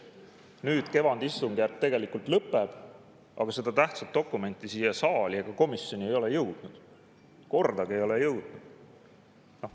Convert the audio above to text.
Nüüd kevadistungjärk lõpeb, aga seda tähtsat dokumenti siia saali ega komisjoni ei ole jõudnud, kordagi ei ole jõudnud.